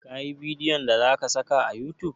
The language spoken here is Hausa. Ka yi bidiyon da za ka saka a youtube?